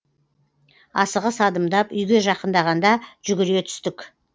асығыс адымдап үйге жақындағанда жүгіре түстік